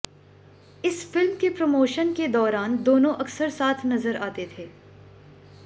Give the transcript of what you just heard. इस फिल्म के प्रमोशन के दौरान दोनों अक्सर साथ नजर आते थे